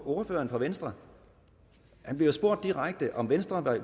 ordføreren fra venstre han bliver spurgt direkte om venstre